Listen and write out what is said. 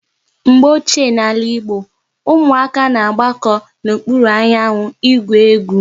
Mgbe ochie n'ala Igbo, ụmụaka na-agbako n'okpuru anyanwụ ị gwụ egwu